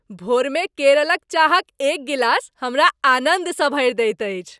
भोरमे केरलक चाहक एक गिलास हमरा आनन्दसँ भरि दैत अछि।